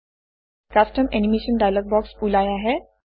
custom animation dialog box ওলাই আহে